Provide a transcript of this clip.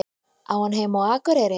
Á hann heima á Akureyri?